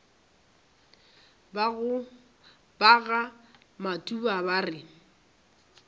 ba ga matuba ba re